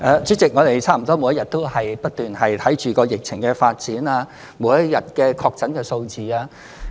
主席，我們差不多每日都不斷檢視疫情的發展及每日的確診數字。